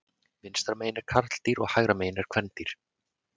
Vinstra megin er karldýr og hægra megin er kvendýr.